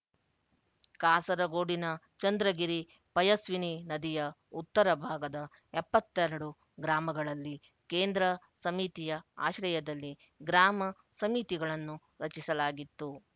ಕಾಸರಗೋಡಿನ ಚಂದ್ರಗಿರಿಪಯಸ್ವಿನಿ ನದಿಯ ಉತ್ತರ ಭಾಗದ ಎಪ್ಪತ್ತ್ ಎರಡು ಗ್ರಾಮಗಳಲ್ಲಿ ಕೇಂದ್ರ ಸಮಿತಿಯ ಆಶ್ರಯದಲ್ಲಿ ಗ್ರಾಮ ಸಮಿತಿಗಳನ್ನು ರಚಿಸಲಾಗಿತ್ತು